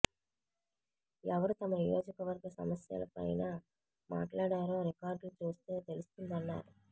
ఎవరు తమ నియోజకవర్గ సమస్యల పైన మాట్లాడారో రికార్డులు చూస్తే తెలుస్తుందన్నారు